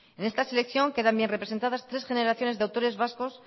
en esta selección quedan bien representadas tres generaciones de autores vascos